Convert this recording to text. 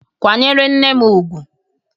Kwa nyere nne m ugwu!